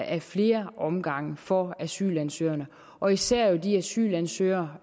af flere omgange forholdene for asylansøgerne og især de asylansøgere